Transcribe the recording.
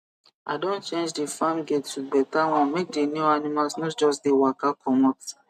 i don change the farm gate to better one make the new animals no just dey waka comot